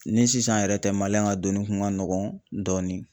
Ni sisan yɛrɛ tɛ ka donni kun ka nɔgɔn dɔɔnin.